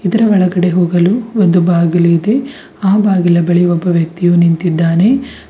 ಇದರ ಒಳಗಡೆ ಹೋಗಲು ಒಂದು ಬಾಗಿಲು ಇದೆ ಆ ಬಾಗಿಲ ಬಳಿ ಒಬ್ಬ ವ್ಯಕ್ತಿಯು ನಿಂತಿದ್ದಾನೆ.